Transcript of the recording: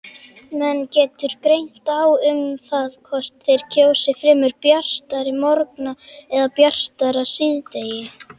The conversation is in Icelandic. Menn getur greint á um það hvort þeir kjósi fremur bjartari morgna eða bjartara síðdegi.